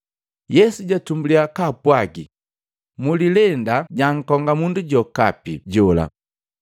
Yesu jatumbulya kaapwagi, “Mulilenda jankonga mundu jokapi jola.